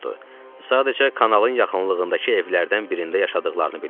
Sadəcə kanalın yaxınlığındakı evlərdən birində yaşadıqlarını bilirdim.